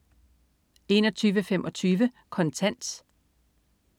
21.25 Kontant